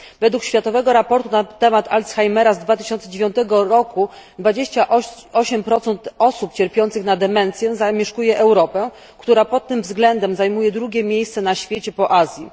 Według światowego raportu na temat Alzheimera z 2009 roku 28 osób cierpiących na demencję zamieszkuje Europę, która pod tym względem zajmuje drugie miejsce na świecie po Azji.